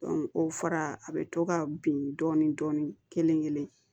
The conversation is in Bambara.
o fara a bɛ to ka bin dɔɔni kelen kelen